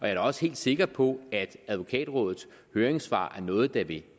er da også helt sikker på at advokatrådets høringssvar er noget der vil